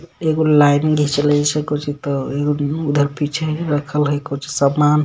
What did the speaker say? एगो लाइन जैसे ऐसे कुछीतो एगो ऊ-उधर पीछे रखल है कुछ समान.